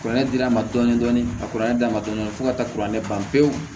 Kuranɛ dir'an ma dɔɔnin dɔɔnin ka kuranɛ d'a ma dɔɔnin dɔɔnin fo ka taa kuranɛ ban pewu